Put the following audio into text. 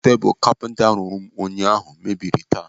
Tebụl kapinta rụrụ m ụnyaahụ mebiri taa.